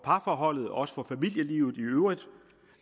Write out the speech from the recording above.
parforholdet og også for familielivet i øvrigt